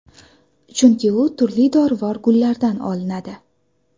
Chunki u turli dorivor gullardan olinadi.